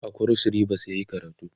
a kros ribas yayi karatu